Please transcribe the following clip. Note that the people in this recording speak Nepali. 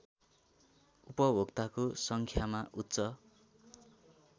उपभोक्ताको सङ्ख्यामा उच्च